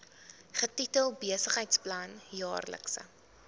getitel besigheidsplan jaarlikse